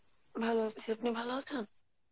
ভালো আছি আপনি ভালো আছেন?